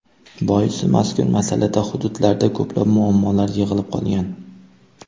Boisi, mazkur masalada hududlarda ko‘plab muammolar yig‘ilib qolgan.